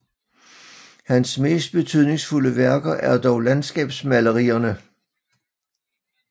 Hans mest betydningsfulde værker er dog landskabsmalerierne